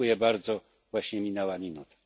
Dziękuję bardzo, właśnie minęła minuta.